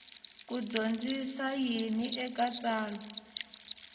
ku dyondzisa yini eka tsalwa